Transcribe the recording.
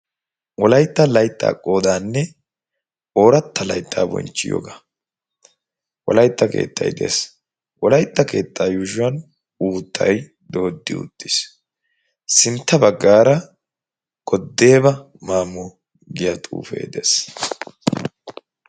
wolaitta layttaa qoodaanne ooratta layttaa bonchchiyoogaa. wolaytta keettay de7ees. wolaytta keettaa yuushuwan uuttay dooddi uttiis. sintta baggaara "goddeeba maamo" giyaa xuufee de7ees.